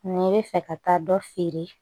N'i bɛ fɛ ka taa dɔ feere